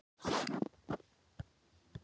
Bjarni hafði verið formaður